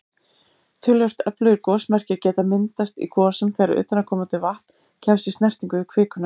Töluvert öflugir gosmekkir geta myndast í gosum þegar utanaðkomandi vatn kemst í snertingu við kvikuna.